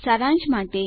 સારાંશ માટે